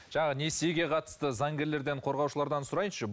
жаңағы несиеге қатысты заңгерлерден қорғаушылардан сұрайыншы